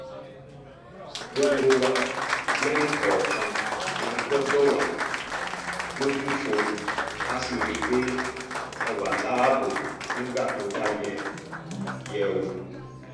gbogbo wa lẹ́nìkọ̀ọ̀kan la gbọ́dọ̀ wà lójúfò ká sì rí i pé a wà láàbò nígbà tó bá yẹ yẹ ọ́